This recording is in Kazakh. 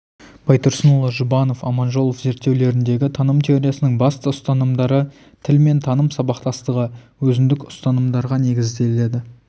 байтұрсынұлы жұбанов аманжолов зерттеулеріндегі таным теориясының басты ұстанымдары тіл мен таным сабақтастығы өзіндік ұстанымдарға негізделеді